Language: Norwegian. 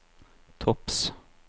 topps